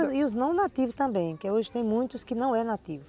E os não nativos também, que hoje tem muitos que não é nativo.